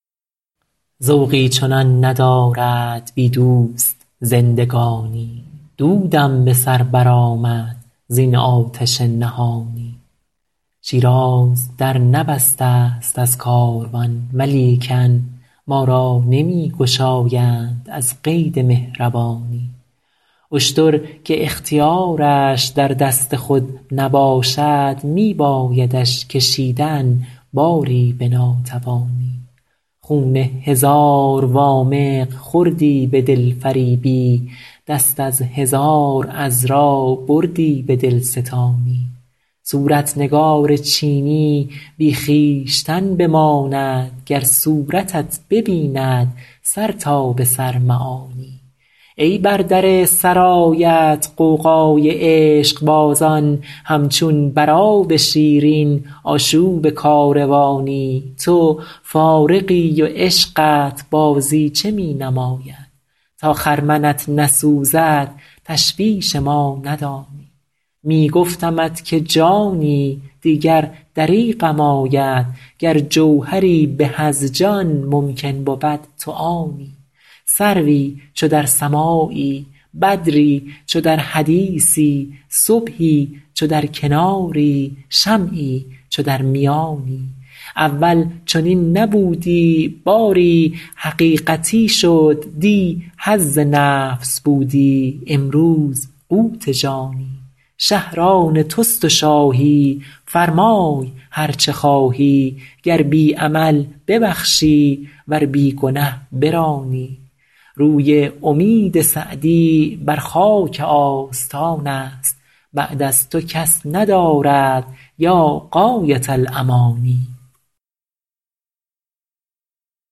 ذوقی چنان ندارد بی دوست زندگانی دودم به سر برآمد زین آتش نهانی شیراز در نبسته ست از کاروان ولیکن ما را نمی گشایند از قید مهربانی اشتر که اختیارش در دست خود نباشد می بایدش کشیدن باری به ناتوانی خون هزار وامق خوردی به دلفریبی دست از هزار عذرا بردی به دلستانی صورت نگار چینی بی خویشتن بماند گر صورتت ببیند سر تا به سر معانی ای بر در سرایت غوغای عشقبازان همچون بر آب شیرین آشوب کاروانی تو فارغی و عشقت بازیچه می نماید تا خرمنت نسوزد تشویش ما ندانی می گفتمت که جانی دیگر دریغم آید گر جوهری به از جان ممکن بود تو آنی سروی چو در سماعی بدری چو در حدیثی صبحی چو در کناری شمعی چو در میانی اول چنین نبودی باری حقیقتی شد دی حظ نفس بودی امروز قوت جانی شهر آن توست و شاهی فرمای هر چه خواهی گر بی عمل ببخشی ور بی گنه برانی روی امید سعدی بر خاک آستان است بعد از تو کس ندارد یا غایة الامانی